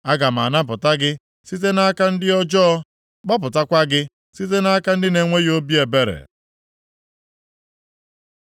“Aga m anapụta gị site nʼaka ndị ọjọọ. Gbapụtakwa gị site nʼaka ndị na-enweghị obi ebere.”